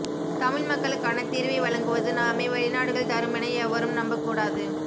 தமிழ் மக்களுக்கான தீர்வை வழங்குவது நாமே வெளிநாடுகள் தருமென எவரும் நம்பக்கூடாது